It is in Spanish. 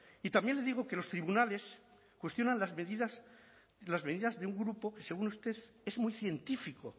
y también le digo que los tribunales cuestionan las medidas las medidas de un grupo según usted es muy científico